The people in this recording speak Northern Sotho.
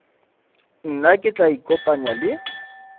nna ke tla ikopanya le